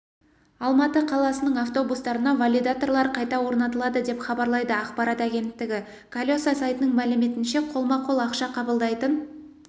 алматы қаласының автобустарына валидаторлар қайта орнатылады деп хабарлайды ақпарат агенттігі колеса сайтының мәліметінше қолма-қол ақша қабылдайтын